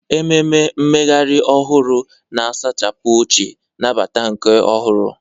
Ememe mmeghari ohuru, na-asachapụ ochie, nabata nke ọhụrụ.